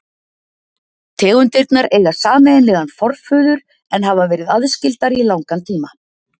tegundirnar eiga sameiginlegan forföður en hafa verið aðskildar í langan tíma